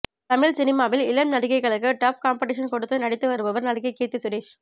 தமிழ் சினிமாவில் இளம் நடிகைகளுக்கு டப் காம்பட்டிஷன் கொடுத்து நடித்து வருபவர் நடிகை கீர்த்தி சுரேஷ்